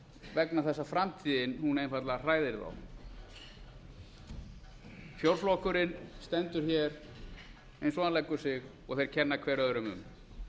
vegna þess að framtíðin einfaldlega hræðir þá fjórflokkurinn stendur hér eins og hann leggur sig og þeir kenna hver öðrum um þetta